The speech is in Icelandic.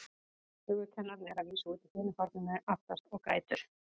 Sögukennarinn er að vísu úti í hinu horninu, aftast, og grætur.